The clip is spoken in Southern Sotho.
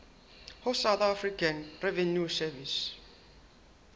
ho south african revenue service